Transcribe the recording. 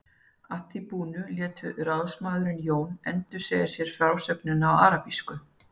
Að því búnu lét ráðsmaðurinn Jón endursegja sér frásögnina á arabísku.